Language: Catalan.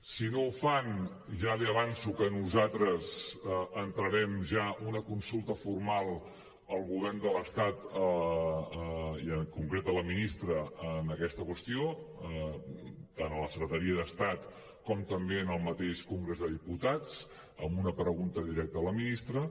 si no ho fan ja li avanço que nosaltres entrarem ja una consulta formal al govern de l’estat i en concret a la ministra en aquesta qüestió tant a la secretaria d’estat com també en el mateix congrés dels diputats amb una pregunta directa a la ministra